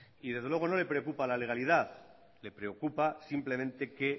y desde luego no le preocupa la legalidad le preocupa simplemente que